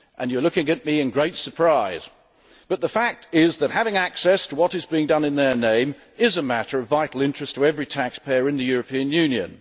You are looking at me in great surprise, but the fact is that having access to what is being done in their name is a matter of vital interest to every taxpayer in the European Union.